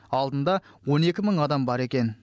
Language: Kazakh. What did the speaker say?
алдында он екі мың адам бар екен